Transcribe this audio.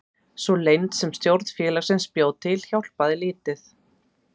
Sú leynd sem stjórn félagsins bjó til hjálpaði lítið.